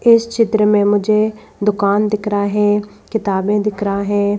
इस चित्र में मुझे दुकान दिख रहा है किताबें दिख रहा है।